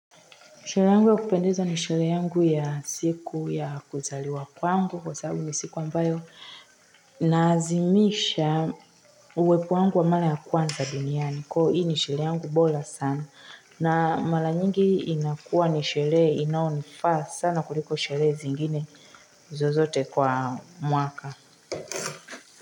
Siku yangu ya kupendeza ni sherehe ya siku ya kuzaliwa kwangu kwa sababu ni siku ambayo naazimisha uwepo wangu wa mara ya kwanza duniani niko hii ni sherehe yangu bola sana na mala nyingi inakuwa ni sherehe inayonifaa sana kuliko sherehe zingine zozote kwa mwaka.